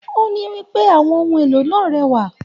O ní wípé àwọn ohùn èlò náà rẹwà.